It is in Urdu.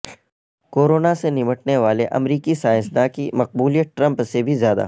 کورونا سے نمٹنے والے امریکی سائنسدان کی مقبولیت ٹرمپ سے بھی زیادہ